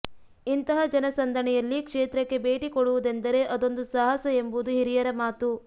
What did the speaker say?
ಇಂತಹ ಜನ ಸಂದಣಿಯಲ್ಲಿ ಕ್ಷೇತ್ರಕ್ಕೆ ಭೇಟಿ ಕೊಡುವುದೆಂದರೆ ಅದೊಂದು ಸಾಹಸ ಎಂಬುದು ಹಿರಿಯರ ಮಾತು